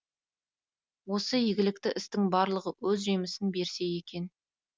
осы игілікті істің барлығы өз жемісін берсе екен